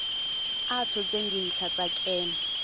a tshotseng dintlha tsa kemo